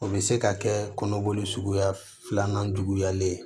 O bɛ se ka kɛ kɔnɔboli suguya filanan juguyalen ye